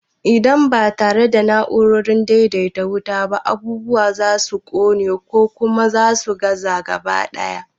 Idan ba tare da na'urar daidaita wuta ba, abubuwa za su ƙone, ko kuma su gaza gaba ɗaya.